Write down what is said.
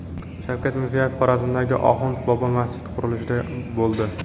Shavkat Mirziyoyev Xorazmdagi Oxund bobo masjidi qurilishida bo‘ldi.